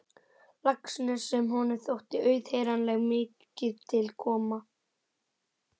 Laxness sem honum þótti auðheyranlega mikið til koma.